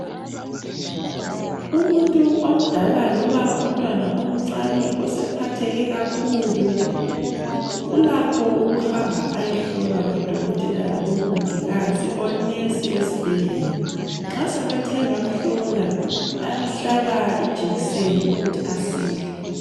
Umuntu omdala loba umntwana omncane osephatheke kakhulu, ulakho ukuhamba ayehlolwa ngodokotela labo mongikazi onesi esbhedlela nxa sebethe bamhlola bayamhlaba ijekiseni ukuthi asile.